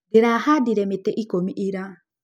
Ndĩrahandire mĩtĩ ikũmi ira.